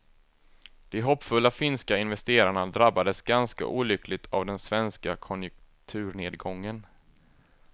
De hoppfulla finska investerarna drabbades ganska olyckligt av den svenska konjunkturnedgången.